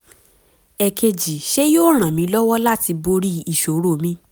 èkejì ṣé yóò ràn mí lọ́wọ́ láti borí ìṣòro mi?